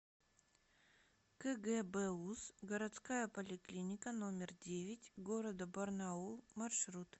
кгбуз городская поликлиника номер девять г барнаул маршрут